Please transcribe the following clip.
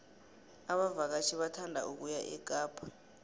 abavakatjhi bathanda ukuya ekapa